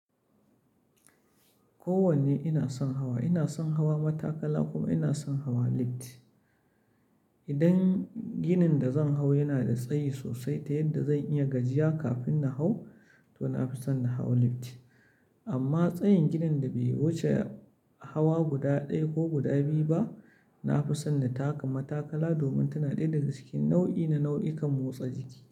Kowanne ina son hawa. Ina son hawa matakala kuma ina son hawa lift. Idan ginin da zan hau yana da tsayi sosai ta yadda zan iya gajiya kafin na hau, to na fi son na hau lift. Amma tsayin ginin da bai wuce hawa guda ɗaya ko guda biyu ba, na fi son na taka matakala domin tana ɗaya daga cikin nau'i na nau'ukan motsa jiki.